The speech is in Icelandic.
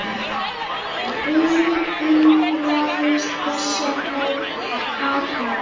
Friðrik undraðist þessa athöfn.